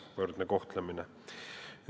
Võrdne kohtlemine.